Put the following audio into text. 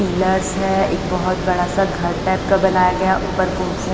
pillars है एक बहुत बड़ा सा घर टाइप का बनाया गया ऊपर को--